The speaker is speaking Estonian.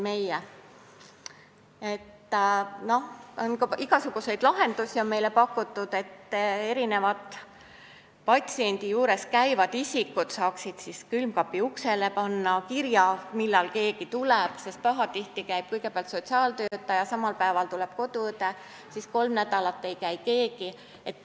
Igasuguseid lahendusi on meile pakutud, näiteks et patsiendi juures käivad isikud saaksid kuhugi külmkapi uksele panna kirja, millal keegi tuleb, sest pahatihti on nii, et kõigepealt käib sotsiaaltöötaja, samal päeval tuleb ka koduõde, siis aga kolm nädalat ei käi keegi.